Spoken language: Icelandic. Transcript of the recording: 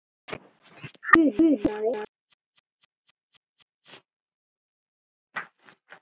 Hana grunaði þetta ekki.